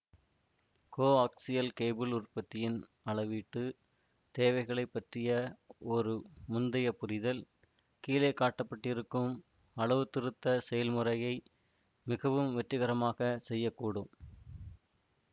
coaxial cable உற்பத்தியின் அளவீட்டு தேவைகளை பற்றிய ஒரு முந்தைய புரிதல் கீழே காட்டப்பட்டிருக்கும் அளவுத்திருத்த செயல்முறையை மிகவும் வெற்றிகரமாக செய்ய கூடும்